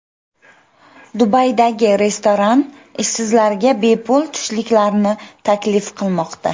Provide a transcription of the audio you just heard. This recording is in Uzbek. Dubaydagi restoran ishsizlarga bepul tushliklarni taklif qilmoqda.